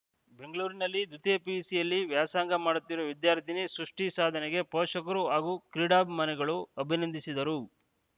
ಬೆಂಗಳೂರಿನಲ್ಲಿ ದ್ವಿತೀಯ ಪಿಯುಸಿಯಲ್ಲಿ ವ್ಯಾಸಂಗ ಮಾಡುತ್ತಿರುವ ವಿದ್ಯಾರ್ಥಿನಿ ಸೃಷ್ಟಿಸಾಧನೆಗೆ ಪೋಷಕರು ಹಾಗೂ ಕ್ರೀಡಾಭಿಮಾನಿಗಳು ಅಭಿನಂದಿಸಿದ್ದಾರೆ